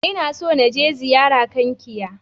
Ina so na je ziyara Kankia.